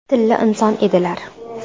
Tilla inson edilar.